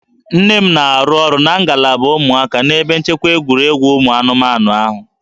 Nne m na-arụ ọrụ na ngalaba ụmụaka n'ebe nchekwa egwuregwu ụmụ anụmanụ ahụ